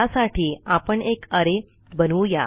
त्यासाठी आपण एक अरे बनवू या